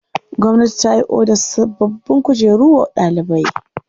Gwamnati ta yi odar sabbin kujeru wa ɗalibai.